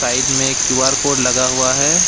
Side में Q R code लगा हुआ है।